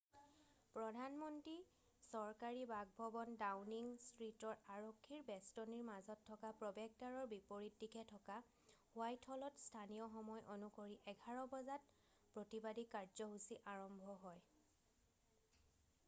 প্ৰধান মন্ত্ৰীৰ চৰকাৰী বাসভৱন ডাওনিং ষ্ট্ৰিটৰ আৰক্ষীৰ বেষ্টনীৰ মাজত থকা প্ৰৱেশদ্বাৰৰ বিপৰীত দিশে থকা হোৱাইট হলত স্থানীয় সময় অনুসৰি 11:00 বজাত utc+1 প্ৰতিবাদী কাৰ্যসূচী আৰম্ভ হয়।